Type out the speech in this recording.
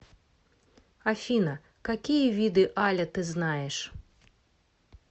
афина какие виды аля ты знаешь